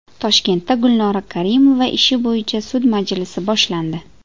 Toshkentda Gulnora Karimova ishi bo‘yicha sud majlisi boshlandi.